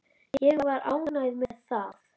Ég var ánægð með það.